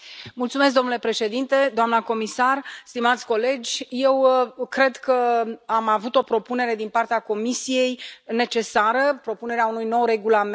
Domnule președinte, doamnă comisar, stimați colegi, eu cred că am avut o propunere necesară din partea Comisiei, propunerea unui nou regulament.